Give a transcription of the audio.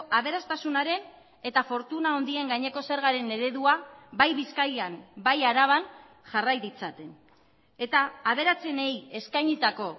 aberastasunaren eta fortuna handien gaineko zergaren eredua bai bizkaian bai araban jarrai ditzaten eta aberatsenei eskainitako